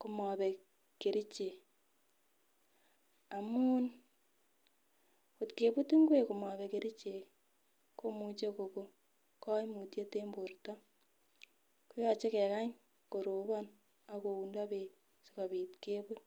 komobek kerichek amun kotkebut inkwek komobek kerichek ii komuche koko koimutiet en borto. Yoche kekany korobon ok koundo beek kobit kebut.